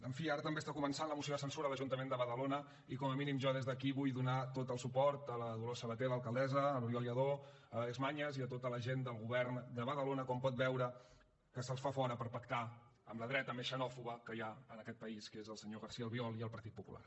en fi ara també està començant la moció de censura a l’ajuntament de badalona i com a mínim jo des d’aquí vull donar tot el suport a la dolors sabater l’alcaldessa a l’oriol lladó a l’àlex mañas i a tota la gent del govern de badalona com pot veure que se’ls fa fora per pactar amb la dreta més xenòfoba que hi ha en aquest país que és el senyor garcía albiol i el partit popular